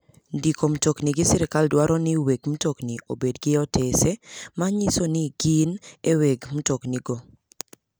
Ndiko mtokni gi sirkal dwaro ni weg mtoni obed gi otese manyiso ni gi e weg mtokni go.